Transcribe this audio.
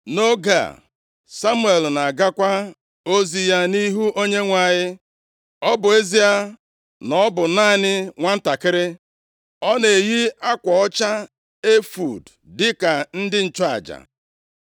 Nʼoge a, Samuel na-agakwa ozi ya nʼihu Onyenwe anyị. Ọ bụ ezie na ọ bụ naanị nwantakịrị, ọ na-eyi akwa ọcha efọọd dịka ndị nchụaja.